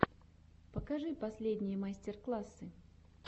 покажи последние мастер классы